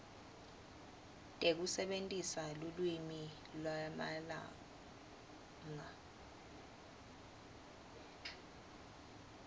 tekusebentisa lulwimi lwamalanga